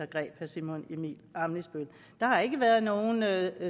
greb herre simon emil ammitzbøll der har ikke været noget